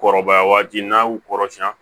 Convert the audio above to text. Kɔrɔbaya waati n'a y'u kɔrɔsiyɛn